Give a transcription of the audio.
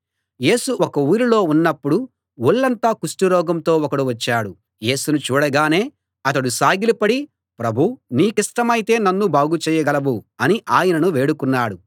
యేసు ఒక ఊరిలో ఉన్నప్పుడు ఒళ్లంతా కుష్టు రోగంతో ఒకడు వచ్చాడు యేసును చూడగానే అతడు సాగిలపడి ప్రభూ నీకిష్టమైతే నన్ను బాగు చేయగలవు అని ఆయనను వేడుకున్నాడు